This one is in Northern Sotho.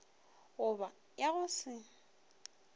go ba ya go se